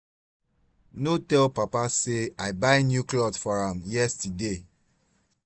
no tell papa say i buy new cloth for am yesterday